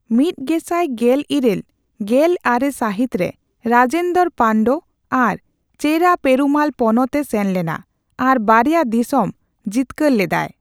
ᱢᱤᱛ ᱜᱮᱥᱟᱭ ᱜᱮᱞ ᱤᱨᱟᱹᱞ ᱼᱜᱮᱞ ᱟᱨᱮ ᱥᱟᱹᱦᱤᱛᱨᱮ, ᱨᱟᱡᱮᱱᱫᱚᱨᱚ ᱯᱟᱱᱰᱚ ᱟᱨ ᱪᱮᱨᱟ ᱯᱮᱨᱩᱢᱟᱞ ᱯᱚᱱᱚᱛ ᱮ ᱥᱮᱱ ᱞᱮᱱᱟ ᱟᱨ ᱵᱟᱨᱭᱟ ᱫᱤᱥᱚᱢ ᱡᱤᱛᱠᱟᱹᱨ ᱞᱮᱫᱟᱭ ᱾